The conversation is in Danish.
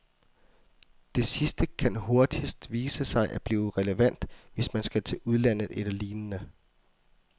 Det sidste kan hurtigst vise sig at blive relevant, hvis man skal til udlandet eller lignende.